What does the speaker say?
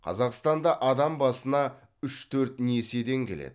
қазақстанда адам басына үш төрт несиеден келеді